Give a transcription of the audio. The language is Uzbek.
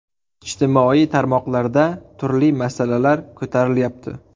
Ijtimoiy tarmoqlarda turli masalalar ko‘tarilyapti.